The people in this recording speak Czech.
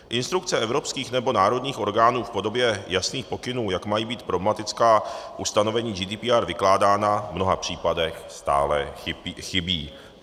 Instrukce evropských nebo národních orgánů v podobě jasných pokynů, jak mají být problematická ustanovení GDPR vykládána, v mnoha případech stále chybí.